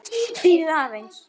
Bíðið aðeins!